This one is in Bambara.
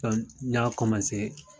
n ɲa